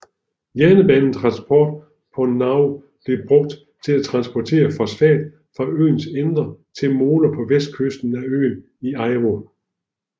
Jernbanetransport på Nauru blev brugt til at transportere fosfat fra øens indre til moler på vestkysten af øen i Aiwo